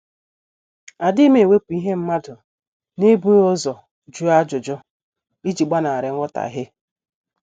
Adighim ewepu ihe mmadụ n'ebughi ụzọ jụọ ajụjụ, iji gbanari nghotahie